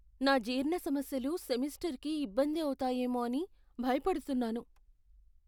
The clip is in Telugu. నా జీర్ణ సమస్యలు సెమిస్టర్కి ఇబ్బంది అవుతాయేమో అని భయపడుతున్నాను.